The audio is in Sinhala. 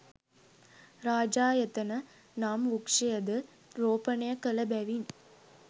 රාජායතන නම් වෘක්ෂයද රෝපණය කළ බැවින්